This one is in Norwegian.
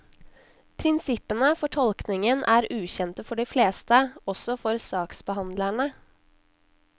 Prinsippene for tolkningen er ukjente for de fleste, også for saksbehandlerne.